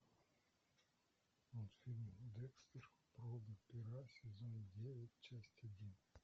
мультфильм декстер проба пера сезон девять часть один